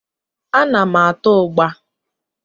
Ana m ata ụgbá.